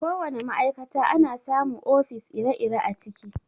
Ko wana ma'aikata ana samu ofis ire-ire a ciki.